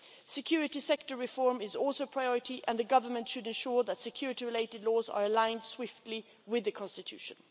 Security sector reform is also a priority and the government should ensure that security related laws are aligned swiftly with the Constitution.